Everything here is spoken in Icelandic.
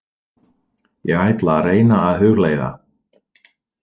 Ég ætla að reyna að hugleiða.